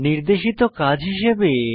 নির্দেশিত কাজ হিসাবে 1